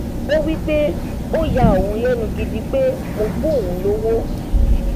ó wí pé ó ya òun lẹnu gidi pé mo fún òun lówó